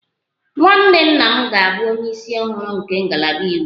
Nwanne nna m ga-abụ onye isi ọhụrụ nke ngalaba iwu